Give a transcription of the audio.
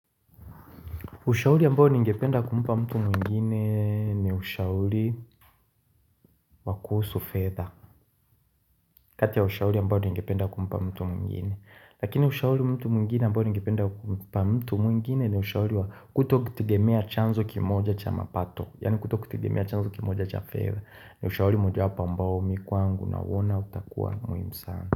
Ushauri ambao ningependa kumpa mtu mwingine ni ushauri wa kuhusu fedha. Kati ya ushauri ambao ningependa kumpa mtu mwingine. Lakini ushauri mtu mwingine ambao ningependa kumpa mtu mwingine ni ushauri wa kutokutegemea chanzo kimoja cha mapato. Yaani kutokutegemea chanzo kimoja cha fedha. Ni ushauri mojawapo ambao mii kwangu nauona utakuwa muhimu sana.